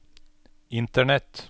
internett